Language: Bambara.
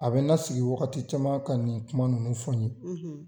A bɛ n la sigi wagati caman ka nin kuma ninnu fɔ n ye.